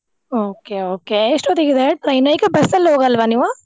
Okay okay ಎಷ್ಟೋತ್ತಿಗಿದೆ train ? ಏಕೆ ಬಸ್ಸಲ್ ಹೋಗಲ್ವಾ ನೀವು?